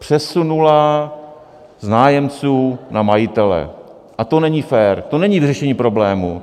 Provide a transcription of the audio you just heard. Přesunula z nájemců na majitele a to není fér, to není vyřešení problému.